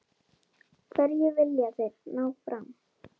Hverju vilja þeir ná fram?